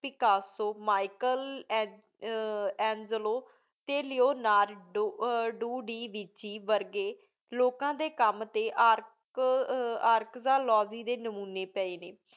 ਵਿਕਸੋ Michelangelo ਟੀ Leonardo ਦੇ ਵਿਚ ਵਰਗੀ ਲੋਕਾ ਦੇ ਕਾਮ ਦੇ ਅਰਕ ਦੇ ਲੋਗੀ ਦੇ ਨਾਮੋਨੀ ਪਾਏ ਨੇ